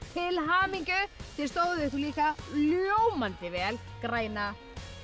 til hamingju þið stóðuð ykkur líka ljómandi vel græna